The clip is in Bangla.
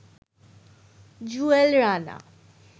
জুয়েল রানা